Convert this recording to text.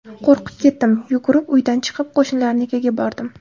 Qo‘rqib ketdim, yugurib uydan chiqib, qo‘shnilarnikiga bordim.